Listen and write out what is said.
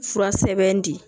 Fura sɛbɛn di